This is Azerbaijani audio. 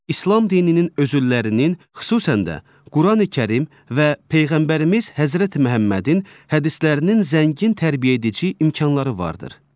İslam dininin özüllərinin, xüsusən də Qurani-Kərim və peyğəmbərimiz Həzrəti Məhəmmədin hədislərinin zəngin tərbiyəedici imkanları vardır.